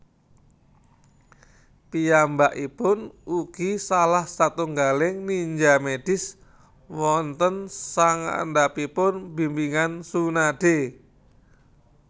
Piyambakipun ugi salah satunggaling ninja medis wonten sangandhapipun bimbingan Tsunade